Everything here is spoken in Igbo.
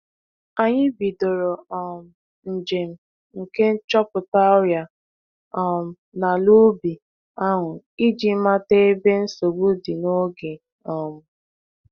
Anyị bidoro um njem nke nchọpụta ọrịa um n'alaubi ahụ iji mata ebe nsogbu dị n'oge um.